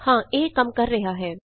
ਹਾਂ ਇਹ ਕੰਮ ਕਰ ਰਿਹਾ ਹੈ